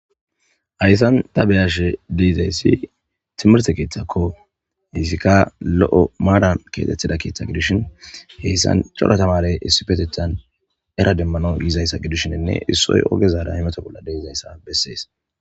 hayssan ta beyashe deizayssi timirte keeththakko heyssika lo7o maaran keetettida keeththa gidishin heyssan cora tamare issipetethan era demmano yizayssa gidishinne issoy ogezaada imato bolla deizayssa bessees